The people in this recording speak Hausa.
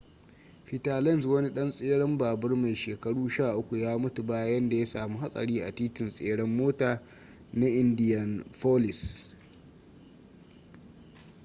peter lenz wani ɗan tseren babur mai shekaru 13 ya mutu bayan da ya samu hatsari a titin tseren mota na indianapolis